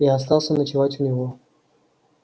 я остался ночевать у него